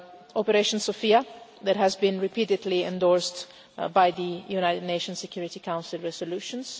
Operation Sophia has been repeatedly endorsed by the United Nations Security Council resolutions.